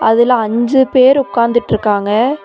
அதுல அஞ்சு பேரு உக்காந்துட்டு இருக்காங்க.